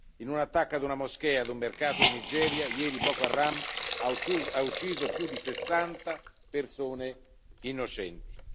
In un attacco ad una moschea e ad un mercato in Nigeria, ieri Boko Haram ha ucciso più di 60 persone innocenti.